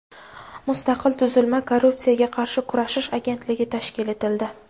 mustaqil tuzilma – Korrupsiyaga qarshi kurashish agentligi tashkil etildi.